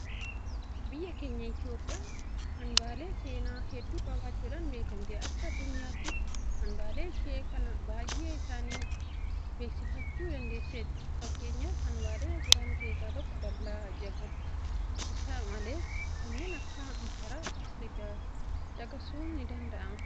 Biyyi keenya Itoophiyaan hanbaalee seenaa hedduu qabaachuudhaan beekamati. Akka addunyaattis hanbaalee ishee kana baay'ee isaanii beeksifachuu dandeesseetti. Fakkeenyaaf hanbaalee jiran keessaa tokko dallaa Jaagolidha. Isa malees kanneen akka masaraa Faasilaadas caqasuun nidanda'ama. Keenneen biroos hedduu isaaniitu jira.